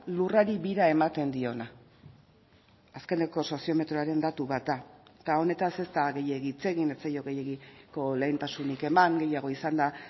lurrari bira ematen diona azkeneko soziometroaren datu bat da eta honetaz ez da gehiegi hitz egin ez zaio gehiegiko lehentasunik eman gehiago izan da